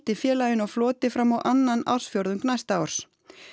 félaginu á floti fram á annan ársfjórðung næsta árs